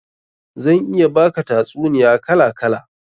Zan iya baka tatsuniya kala kala